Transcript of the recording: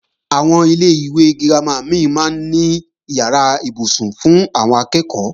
Àwọn ilé-ìwé girama mí máa ń ní ìyàrá ibùsùn fún àwọn akẹ́ẹ̀kọ́